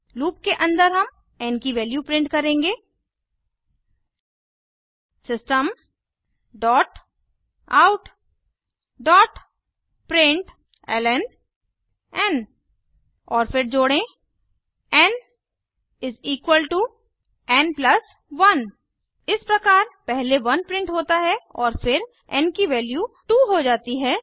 loop के अन्दर हम एन की वैल्यू प्रिंट करेंगे systemoutप्रिंटलन और फिर जोड़ें एन एन 1 इस प्रकार पहले 1 प्रिंट होता है और फिर एन की वैल्यू 2 हो जाती है